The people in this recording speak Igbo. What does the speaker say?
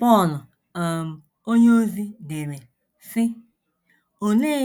Pọl um onyeozi dere, sị: “ Olee